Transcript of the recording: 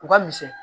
U ka misɛn